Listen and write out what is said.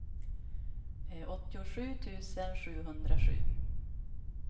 åttiosju tusen sjuhundrasju